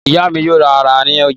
Ìyá mi yóò ra ara ní ọjà.